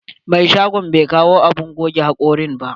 Mai shagon bai kawo abun goge hakori ba.